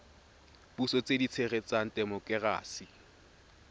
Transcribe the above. puso tse di tshegetsang temokerasi